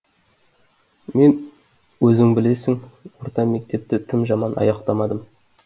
мен өзің білесің орта мектепті тым жаман аяқтамадым